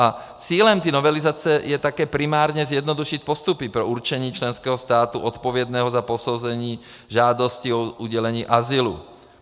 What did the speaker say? A cílem té novelizace je také primárně zjednodušit postupy pro určení členského státu odpovědného za posouzení žádosti o udělení azylu.